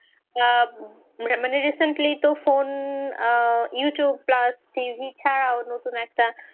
আহ মানে recently তো phone আহ Youtube plusTV ছাড়াও নতুন একটা